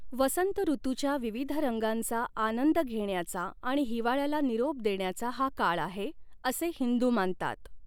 वसंत ऋतूच्या विविध रंगांचा आनंद घेण्याचा आणि हिवाळ्याला निरोप देण्याचा हा काळ आहे, असे हिंदू मानतात.